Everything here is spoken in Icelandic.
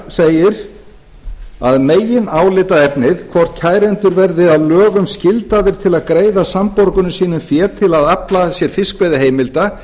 segir að meginálitaefnið hvort kærendur verði að lögum skyldaðir til að greiða samborgurum sínum fé til að afla sér fiskveiðiheimilda